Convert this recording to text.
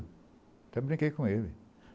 Até brinquei com ele.